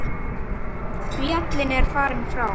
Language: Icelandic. Fallinn er frá.